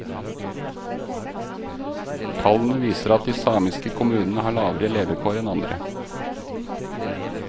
Tallene viser at de samiske kommunene har lavere levekår enn andre.